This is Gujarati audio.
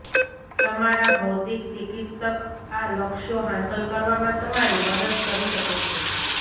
તમારા ભૌતિક ચિકિત્સક આ લક્ષ્યો હાંસલ કરવામાં તમારી મદદ કરી શકે છે